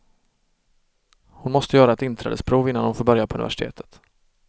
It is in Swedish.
Hon måste göra ett inträdesprov innan hon får börja på universitetet.